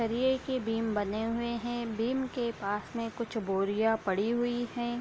सरिये के बीम बने हुए हैं बीम के पास में कुछ बोरियां पड़ी हुई हैं।